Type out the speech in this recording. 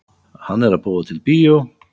Hann er að búa til bíó.